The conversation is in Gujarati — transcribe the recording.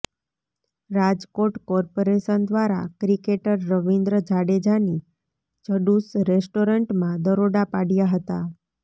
રાજકોટ કોર્પોરેશન દ્વારા ક્રિકેટર રવીન્દ્ર જાડેજાની જડુસ રેસ્ટોરન્ટમાં દરોડા પાડ્યા હતા